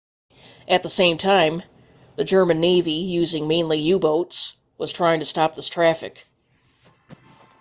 at the same time the german navy using mainly u-boats was trying to stop this traffic